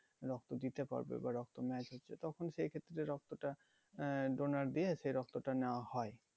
রক্ত দিতে পারবে বা রক্ত match হচ্ছে তখন সেই ক্ষেত্রে রক্তটা আহ donor দিয়ে সেই রক্তটা নেওয়া হয়